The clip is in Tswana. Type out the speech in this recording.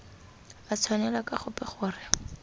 a tshwanela ka gope gore